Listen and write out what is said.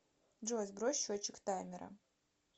джой сбрось счетчик таймера